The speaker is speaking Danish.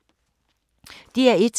DR1